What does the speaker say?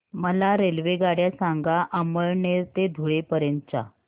मला रेल्वेगाड्या सांगा अमळनेर ते धुळे पर्यंतच्या